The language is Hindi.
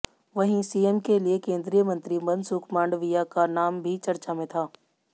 वहीं सीएम के लिए केंद्रीय मंत्री मनसुख मांडविया का नाम भी चर्चा में था